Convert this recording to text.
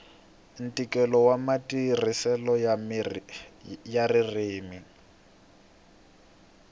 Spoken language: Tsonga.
ntikelo wa matirhiselo ya ririmi